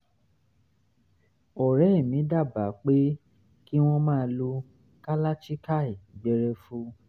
um ọ̀rẹ́ mi dábàá pé kí wọ́n máa lo kalachikai gbẹrẹfu